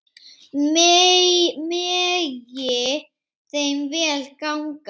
Megi þeim vel ganga.